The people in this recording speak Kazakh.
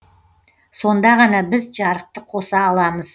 сонда ғана біз жарықты қоса аламыз